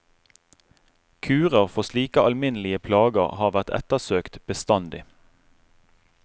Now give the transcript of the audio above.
Kurer for slike alminnelige plager har vært ettersøkt bestandig.